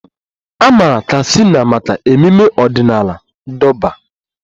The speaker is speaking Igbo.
A maara Katsina maka ememme ọdịnala Durbar